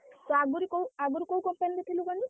ତୁ ଆଗୁରୁ କୋଉ ଆଗୁରୁ କୋଉ company ରେ ଥିଲୁ କହନି?